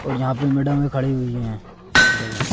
और यहां पे मैडम में खड़ी हुई हैं पर्दे बंद--